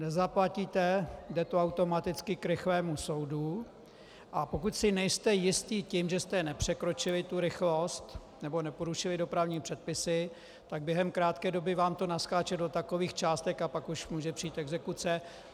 Nezaplatíte, jde to automaticky k rychlému soudu, a pokud si nejste jisti tím, že jste nepřekročili tu rychlost nebo neporušili dopravní předpisy, tak během krátké doby vám to naskáče do takových částek a pak už může přijít exekuce.